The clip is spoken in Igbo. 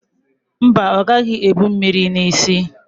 Mba, ọ gaghị ebu mmiri n'isi ya.